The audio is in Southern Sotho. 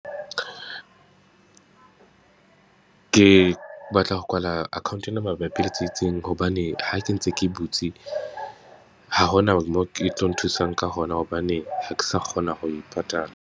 Ke batla ho kwala account ena mabapi le hobane ha ke ntse ke e butse, ha ho na moo ke tlo nthusang ka hona hobane, ha ke sa kgona ho e patala.